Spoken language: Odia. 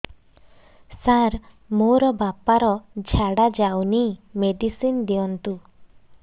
ସାର ମୋର ବାପା ର ଝାଡା ଯାଉନି ମେଡିସିନ ଦିଅନ୍ତୁ